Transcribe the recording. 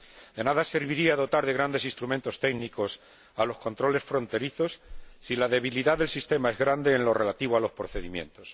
De nada serviría dotar de grandes instrumentos técnicos a los controles fronterizos si la debilidad del sistema es grande en lo relativo a los procedimientos.